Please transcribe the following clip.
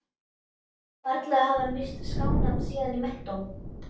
Varla hafði hann víst skánað síðan í menntó.